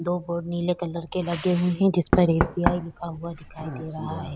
दो बोर्ड नीले कलर के लगे हुए हैं जिस पर एस. बी. लिखा दिखाई दे रहा हैं।